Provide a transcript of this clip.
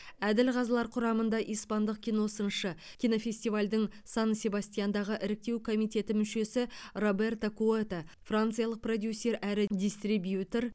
әділ қазылар құрамында испандық киносыншы кинофестивальдің сан себастьяндағы іріктеу комитеті мүшесі роберто куэто франциялық продюсер әрі дистрибьютер